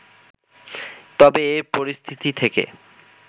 তবে এ পরিস্থিতি থেকে